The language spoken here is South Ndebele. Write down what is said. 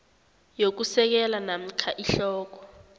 yokusekela namkha ihloko